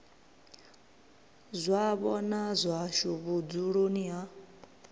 zwavho na zwashu vhudzuloni ha